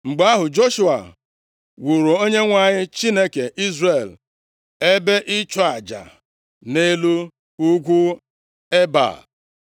Mgbe ahụ, Joshua wuuru Onyenwe anyị, Chineke Izrel ebe ịchụ aja nʼelu ugwu Ebal,